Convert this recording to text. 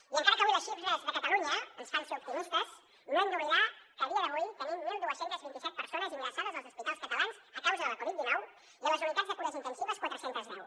i encara que avui les xifres de catalunya ens fan ser optimistes no hem d’oblidar que a dia d’avui tenim dotze vint set persones ingressades als hospitals catalans a causa de la covid dinou i a les unitats de cures intensives quatre cents i deu